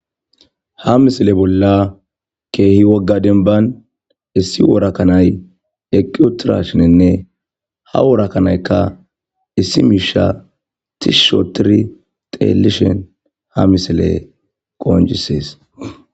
ha misile bolla keehi wogga denban issi worakanay eqqi utirashinenne ha worakanaykka issi miisha tishsh otiri xeelishen ha misile qooncsees